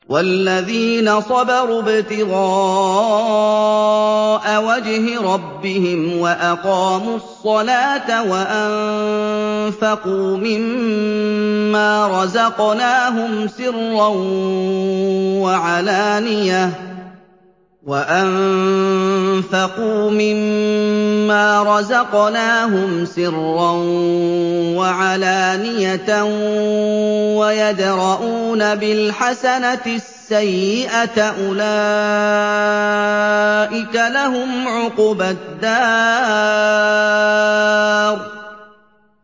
وَالَّذِينَ صَبَرُوا ابْتِغَاءَ وَجْهِ رَبِّهِمْ وَأَقَامُوا الصَّلَاةَ وَأَنفَقُوا مِمَّا رَزَقْنَاهُمْ سِرًّا وَعَلَانِيَةً وَيَدْرَءُونَ بِالْحَسَنَةِ السَّيِّئَةَ أُولَٰئِكَ لَهُمْ عُقْبَى الدَّارِ